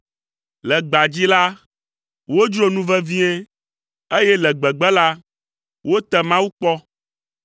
Le gbea dzi la, wodzro nu vevie, eye le gbegbe la, wote Mawu kpɔ.